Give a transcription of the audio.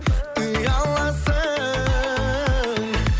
ұяласың